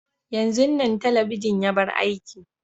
yanzun Nan telebijin ya bar aiki.